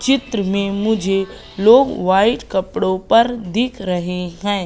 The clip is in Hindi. चित्र में मुझे लोग वाइट कपड़ो पर दिख रहे हैं।